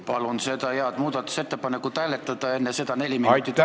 Palun seda head muudatusettepanekut hääletada ja enne seda neli minutit vaheaega!